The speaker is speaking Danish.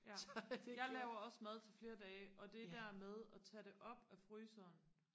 ja jeg laver også mad til flere dage og det der med og tage det op af fryseren